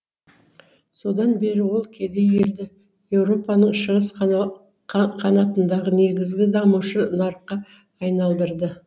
содан бері ол кедей елді еуропаның шығыс қанатындағы негізгі дамушы нарыққа айналдырды